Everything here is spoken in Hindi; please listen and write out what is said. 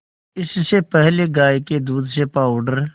इससे पहले गाय के दूध से पावडर